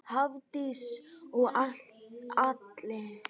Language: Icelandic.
Hafdís og Atli.